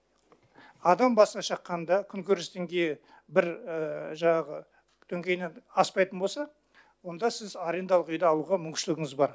адам басына шаққанда күнкөріс деңгейі бір жаңағы деңгейінен аспайтын болса онда сіз арендалық үйді алуға мүмкіншілігіңіз бар